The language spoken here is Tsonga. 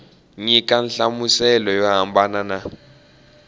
nyika nhlamuselo yo hambana na